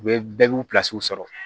U bɛ bɛɛ b'u sɔrɔ